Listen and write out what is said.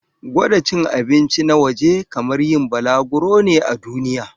Gwada cin abinci na waje kamar yin balaguro ne a duniya.